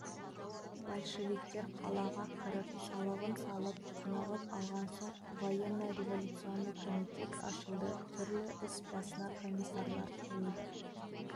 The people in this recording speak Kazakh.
большевиктер қалаға кіріп салығын салып тынығып алған соң военно-революционный комитет ашылды түрлі іс басына комиссарлар қойылды